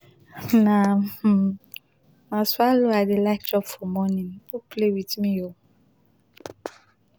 na um na swallow i dey like chop for morning no play with me oo